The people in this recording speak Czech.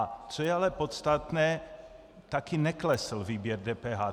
A co je ale podstatné, taky neklesl výběr DPH.